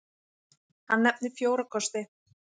Hann nefnir fjóra kosti.